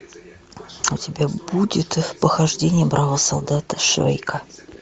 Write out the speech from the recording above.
у тебя будет похождения бравого солдата швейка